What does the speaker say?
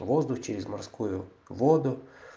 воздух через морскую воду